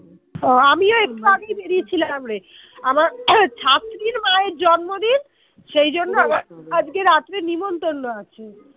আমিও একটু আগেই বেরিয়ে ছিলাম রে আমার ছাত্রীর মায়ের জন্মদিন সেজন্য আজকে রাত্রে নেমন্তন্ন আছে